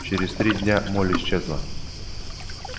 через три дня молли исчезла